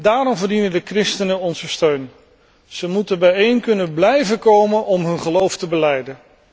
Daarom verdienen de christenen onze steun. Ze moeten bijeen kunnen blijven komen om hun geloof te belijden.